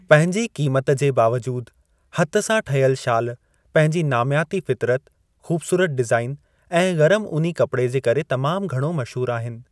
पंहिंजे क़ीमती क़ीमत जे बावजूदि हथ सां ठहियल शाल पंहिंजी नामियाती फ़ितरत, ख़ूबसूरत डीज़ाइन ऐं गरमु ऊनी कपड़े जे करे तमामु घणो मशहूरु आहिनि।